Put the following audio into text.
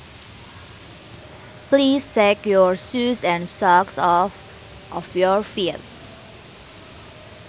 Please take your shoes and socks off of your feet